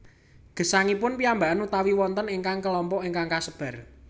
Gesangipun piyambakan utawi wonten ingkang kelompok ingkang kasebar